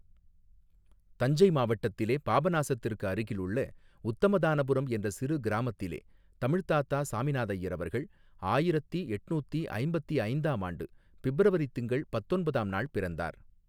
தஞ்சை மாவட்டத்திலே பாபநாசத்திற்கு அருகில் உள்ள உத்தமதானபுரம் என்ற சிறு கிராமத்திலே தமிழ்த் தாத்தா சாமிநாதய்யர் அவர்கள் ஆயிரத்தி எட்னூத்தி ஐம்பத்தி ஐந்தாம் ஆண்டு பிப்ரவரித் திங்கள் பத்தொன்பதாம் நாள் பிறந்தார்.